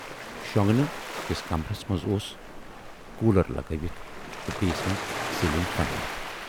شۅنگنہٕ کِس کمرس منز اوس کوٗلر لگٲوِتھ تہٕ بییِس منز سیٖلِنگ فین۔